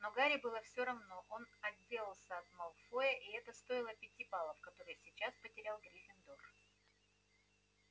но гарри было все равно он отделался от малфоя и это стоило пяти баллов которые сейчас потерял гриффиндор